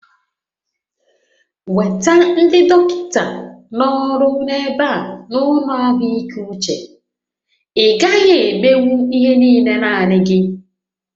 Weta ndị dọkịta na-ọrụ n'ebe a n'ụlọ ahụike uche, ị gaghị emenwu ihe niile naanị gị!